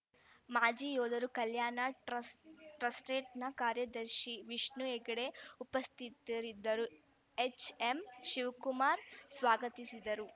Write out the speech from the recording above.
ಮಾಜಿ ಯೋಧರ ಕಲ್ಯಾಣ ಟ್ರಸ್ಟ್‌ ಟ್ರಸ್ಟ್ರೇಟ್ನ ಕಾರ್ಯದರ್ಶಿ ವಿಷ್ಣು ಹೆಗಡೆ ಉಪಸ್ಥಿತರಿದ್ದರು ಎಚ್‌ಎಂ ಶಿವಕುಮಾರ್‌ ಸ್ವಾಗತಿಸಿದರು